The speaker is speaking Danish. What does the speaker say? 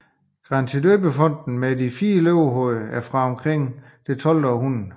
Grantidøbefonten med fire løvehoveder er fra omkring 1200